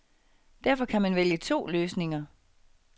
Derfor kan man vælge to løsninger.